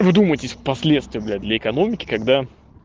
вы вдумайтесь в последствия бля для экономики когда